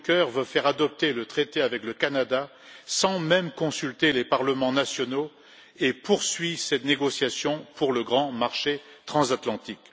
Juncker veut faire adopter le traité avec le Canada sans même consulter les parlements nationaux et poursuit cette négociation pour le grand marché transatlantique.